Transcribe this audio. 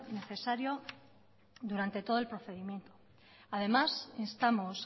necesario durante todo el procedimiento además instamos